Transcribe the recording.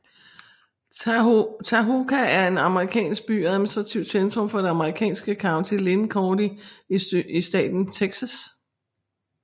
Tahoka er en amerikansk by og administrativt centrum for det amerikanske county Lynn County i staten Texas